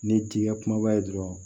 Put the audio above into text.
Ni t'i ka kumaba ye dɔrɔn